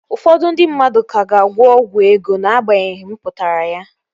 Ụfọdụ ndị mmadụ ka ga-agwọ ọgwụ ego Na-agbanyeghi mpụtara ya